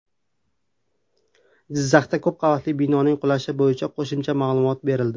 Jizzaxdagi ko‘p qavatli binoning qulashi bo‘yicha qo‘shimcha ma’lumot berildi.